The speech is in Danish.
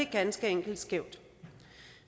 ganske enkelt skævt